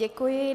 Děkuji.